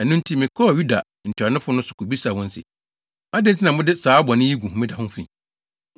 Ɛno nti, mekɔɔ Yuda ntuanofo no so kobisaa wɔn se, “Adɛn nti na mode saa bɔne yi gu homeda ho fi?